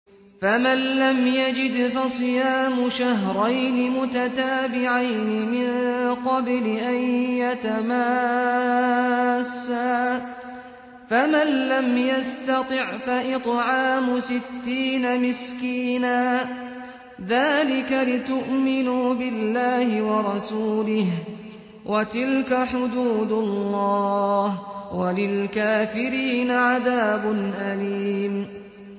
فَمَن لَّمْ يَجِدْ فَصِيَامُ شَهْرَيْنِ مُتَتَابِعَيْنِ مِن قَبْلِ أَن يَتَمَاسَّا ۖ فَمَن لَّمْ يَسْتَطِعْ فَإِطْعَامُ سِتِّينَ مِسْكِينًا ۚ ذَٰلِكَ لِتُؤْمِنُوا بِاللَّهِ وَرَسُولِهِ ۚ وَتِلْكَ حُدُودُ اللَّهِ ۗ وَلِلْكَافِرِينَ عَذَابٌ أَلِيمٌ